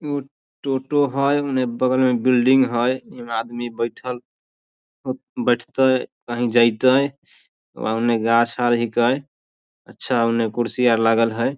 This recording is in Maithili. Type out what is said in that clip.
ऊ टोटो हई उने बगल में बिल्डिंग हई इ में आदमी बैठल बैठते कहीं जयते उने गाछ आर हीके अच्छा उने कुर्सी आर लागल हई।